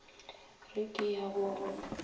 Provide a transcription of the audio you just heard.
re ke ya go go